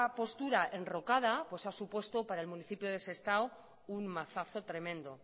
postura enrocada ha supuesto para el municipio de sestao un mazazo tremendo